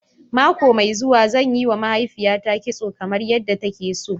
Mako mai zuwa, zan yiwa mahaifiyata kitso kamar yadda take so.